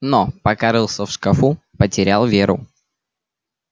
но пока рылся в шкафу потерял веру